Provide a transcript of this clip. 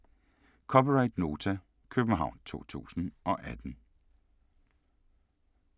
(c) Nota, København 2018